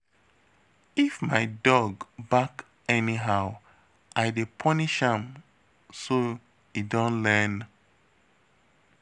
If my dog bark anyhow I dey punish am so e don learn$